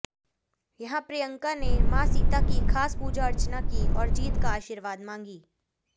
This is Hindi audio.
यहां प्रियंका ने मां सीता की खास पूजा अर्चना की और जीत का आशीर्वाद मांगी